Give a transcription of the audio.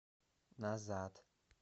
назад